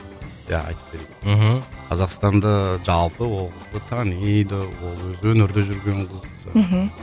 иә айтып берейін мхм қазақстанда жалпы ол қызды таниды ол өзі өнерде жүрген қыз мхм